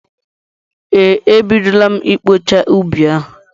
Ee, e bidola m ịkpọcha ubi ahụ.